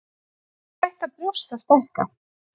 Hvenær hætta brjóst að stækka?